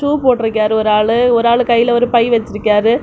Shoe போட்ருக்கியாரு ஒரு ஆளு ஒரு ஆளு கைல பை வெச்சுருகியாரு.